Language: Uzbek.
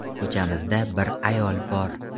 Ko‘chamizda bir ayol bor.